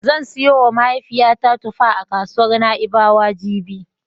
Zan siyowa mahaifiyata tufa a kasuwar Na'ibawa jibi.